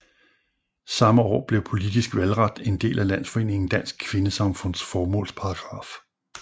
Samme år blev politisk valgret en del af landsforeningen Dansk Kvindesamfunds formålsparagraf